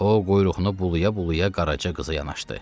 O quyruğunu bulaya-bulaya Qaraca qıza yanaşdı.